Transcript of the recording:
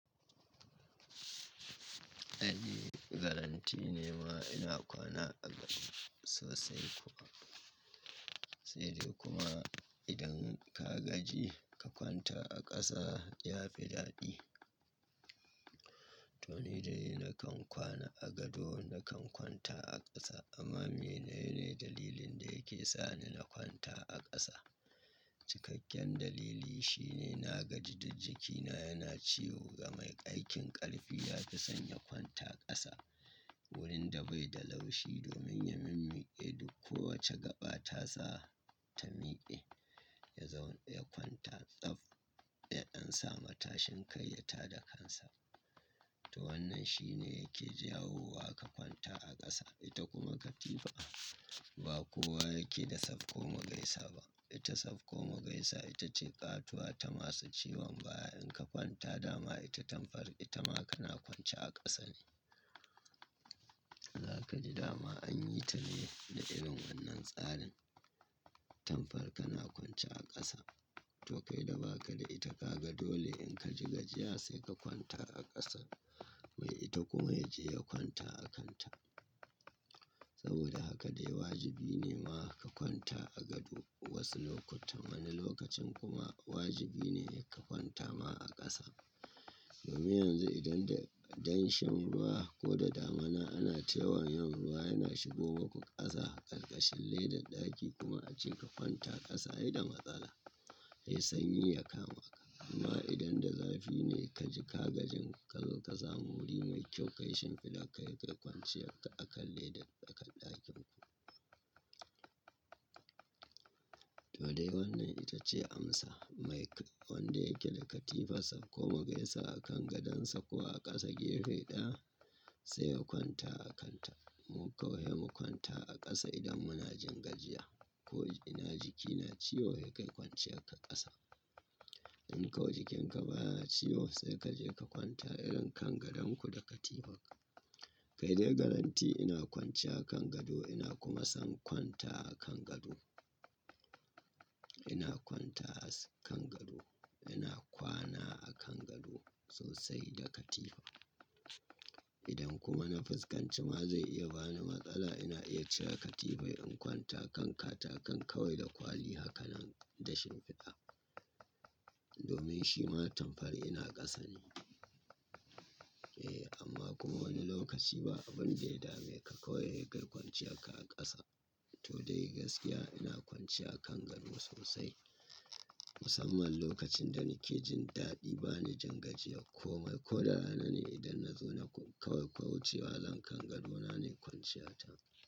Eh, guarantee ne ma ina kwana a gado sosai kuwa. Sai dai kuma idan ka gaji ka kwanta a ƙasa ya fi daɗi. To ni dai na kan kwana a gado, na kan kwanta a ƙasa. Amma menene dalilin da yake sani na kwanta a ƙasa? Cikakken dalili shine na gaji da jikina yana ciwo ga mai aikin ƙarfi ya fi son ya kwanta ƙasa wurin da bai da laushi domin ya minmike duk kowace gaɓa ta sa ta mike. Ya kwanta tsaf, ya dansa matashin kai ya tada kansa. To wannan shi ne yake jawo wa ka kwanta a ƙasa. Ita kuma katifa ba kowa yake da safko mu gaisa ba. Ita safko mu gaisa ita ce ƙatuwa ta masu ciwon baya. In ka kwanta dama ita tamfar ita ma kana kwance a ƙasa ne. Za ka ji dama an yi ta ne da irin wannan tsarin. Tamfar kana kwance a ƙasa. To kai da ba ka da ita ka ga dole in ka ji gajiya sai ka kwanta a ƙasa. Mai ita kuma ya je ya kwanta a kanta. Saboda haka dai wajibi ne ma ka kwanta a gado wasu lokuta. Wani lokacin kuma wajibi ne ka kwanta ma a ƙasa. Domin yanzu idan da danshin ruwa ko da damuna ana tayawan yin ruwa yana shigo maku ƙasa ƙarƙashin ledan ɗaki kuma ace ka kwanta ƙasa ai da matsala. Ai sanyi ya kama ka. Amma idan da zafi ne ka ji ka gajin kazo ka samu wuri mai kyau kai shimfiɗa ka kai kwanciyar akan ledan tsakar ɗakin ku. To dai wannan ita ce amsa. Mai wanda yake da katifa safko mu gaisa a kan gadonsa ko a ƙasa gefe ɗaya sai ya kwanta a kanta. Mu kawai mu kwanta a ƙasa idan muna jin gajiya ko ina jikina ciwo ya kai kwance a ƙasa. In kawai jikinka baya ciwo sai ka je ka kwanta irin kan gadon ku da katifarka. Kai dai galanti ina kwance a kan gado ina kuma son kwanta a kan gado. Ina kwanta a kan gado. Ina kwana a kan gado sosai da katifa. Idan kuma na fuskanci ma zai iya bani matsala ina iya cire katifai in kwanta kan katakan kawai da kwali hakanan da shimfiɗa. Domin shi ma tamfar ina ƙasa ne. Eh amma kuma wani lokaci ba abun dai dame kai kawai kwance a ƙasa. To dai gaskiya ina kwance a kan gado sosai. Musamman lokacin da nake jin daɗi bani jin gajiya ko mai ko da rana ne idan na zo na kaucewa zan kan gadona ne kwanciya ta.